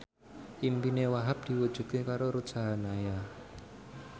impine Wahhab diwujudke karo Ruth Sahanaya